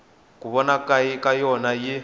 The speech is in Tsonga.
ku vona ka yona yi